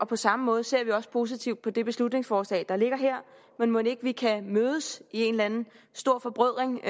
på samme måde ser vi også positivt på det beslutningsforslag der ligger her men mon ikke vi kan mødes i en eller anden stor forbrødring